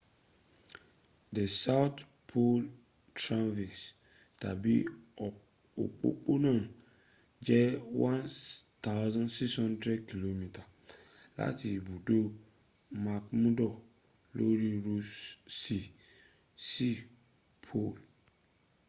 the south pole traverse tàbí òpópónà jẹ́ 1600 km láti ibùdó mcmurdo lóri ross sea sí pole